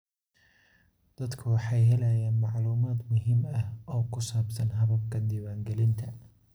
Dadku waxay helayaan macluumaad muhiim ah oo ku saabsan hababka diiwaangelinta.